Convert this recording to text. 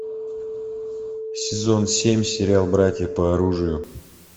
сезон семь сериал братья по оружию